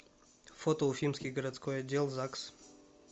фото уфимский городской отдел загс